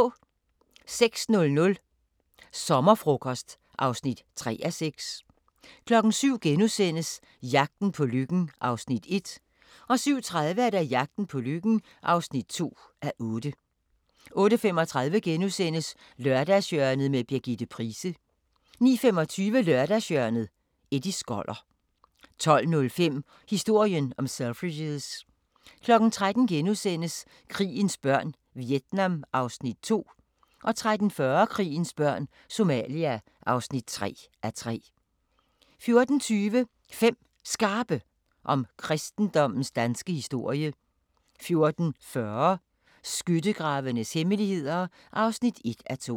06:00: Sommerfrokost (3:6) 07:00: Jagten på lykken (1:8)* 07:30: Jagten på lykken (2:8) 08:35: Lørdagshjørnet – Birgitte Price * 09:25: Lørdagshjørnet - Eddie Skoller 12:05: Historien om Selfridges 13:00: Krigens børn – Vietnam (2:3)* 13:40: Krigens børn – Somalia (3:3) 14:20: 5 Skarpe om kristendommens danske historie 14:40: Skyttegravenes hemmeligheder (1:2)